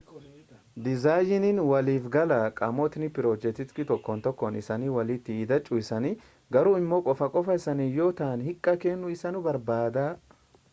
dizaayiniin waliifgalaa qaamotni pirojektii tokkon tokkoon isanii walitti hidhachuu isaanii garuu immoo qofa qofaa isaaniis yoo ta'an hiikaa kennuu isaanii barbaada